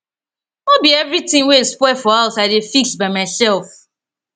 no be everytin wey spoil for house i dey fix by mysef